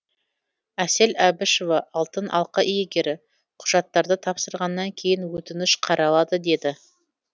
әсел әбішева алтын алқа иегері құжаттарды тапсырғаннан кейін өтініш қаралады деді